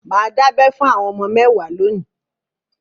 Mà á dábẹ fún àwọn ọmọ mẹ́wàá lónìí.